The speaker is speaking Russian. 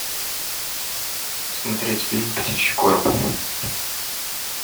смотреть фильм птичий короб